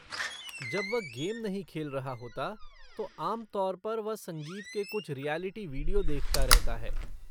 जब वह गेम नहीं खेल रहा होता, तो आम तौर पर वह संगीत के कुछ रिऐलिटी विडियो देखता रहता है।